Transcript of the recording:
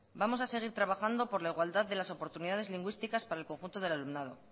vamos a seguir trabajando por la igualdad de las oportunidades lingüísticas para el conjunto del alumnado